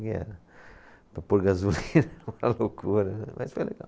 Para pôr gasolina era uma loucura, mas foi legal.